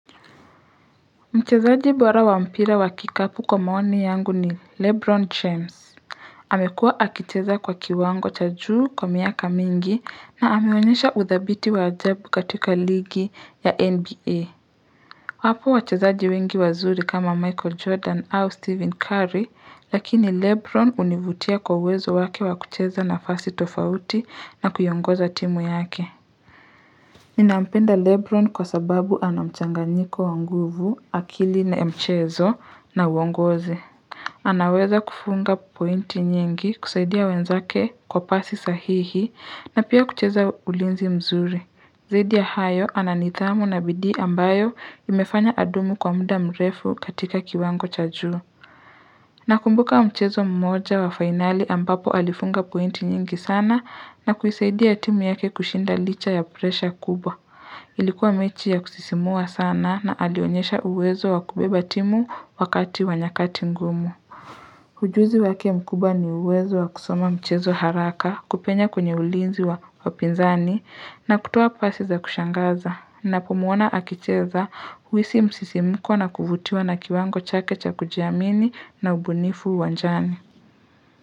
Mchezaji bora wa mpira wa kikapu kwa maoni yangu ni Lebron James amekuwa akicheza kwa kiwango cha juu kwa miaka mingi na ameonyesha udhabiti wa ajabu katika ligi ya Nba Wapo wachezaji wengi wazuri kama michael jordan au stephen curry lakini lebron univutia kwa uwezo wake wa kucheza nafasi tofauti na kuongoza timu yake Ninampenda Lebron kwa sababu anamchanganyiko wa nguvu, akili na mchezo na uongozi. Anaweza kufunga pointi nyingi kusaidia wenzake kwa pasi sahihi na pia kucheza ulinzi mzuri. Zaidi ya hayo ananidhamu na bidii ambayo imefanya adumu kwa muda mrefu katika kiwango cha juu. Nakumbuka mchezo mmoja wa finali ambapo alifunga pointi nyingi sana na kuisaidia timu yake kushinda licha ya presha kubwa. Ilikuwa mechi ya kusisimua sana na alionyesha uwezo wa kubeba timu wakati wa nyakati ngumu. Ujuzi wake mkubwa ni uwezo wa kusoma mchezo haraka kupenya kwenye ulinzi wa wapinzani na kutoa pasi za kushangaza. Nakumuona akicheza uhisi msisimuko na kuvutiwa na kiwango chake cha kujiamini na ubunifu uwanjani.